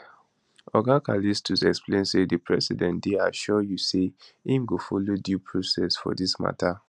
oga callistus explain say di president dey assure you say im go follow due process for dis matter